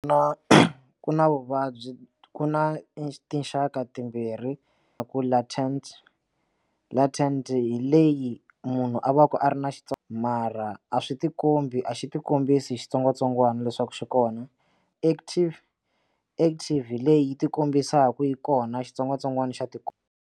Na ku na vuvabyi ku na i tinxaka timbirhi ta ku latind latind hi leyi munhu a va a ri na xitso mara a swi tikombi a xi tikombise hi xitsongwatsongwana leswaku xi kona active active leyi yi ti kombisaka yi kona xitsongwatsongwana xa tika.